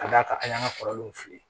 Ka d'a kan an y'an ka kɔrɔlenw fili